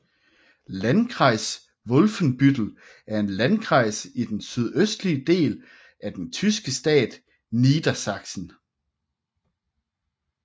Landkreis Wolfenbüttel er en Landkreis i den sydøstlige del af den tyske delstat Niedersachsen